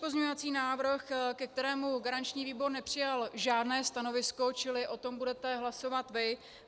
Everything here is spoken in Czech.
Pozměňovací návrh, ke kterému garanční výbor nepřijal žádné stanovisko, čili o tom budete hlasovat vy.